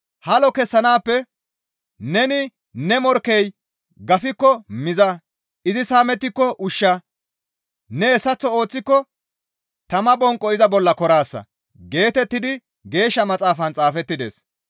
Halo kessanaappe, «Neni ne morkkey gafikko miza; izi saamettiko ushsha; ne hessaththo ooththiko tama bonqo iza bolla koraasa» geetettidi Geeshsha Maxaafan xaafettides.